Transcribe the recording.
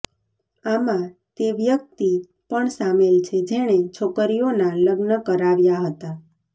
આમાં તે વ્યક્તિ પણ શામેલ છે જેણે છોકરીઓના લગ્ન કરાવ્યા હતા